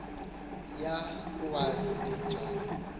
ya kuwazi njani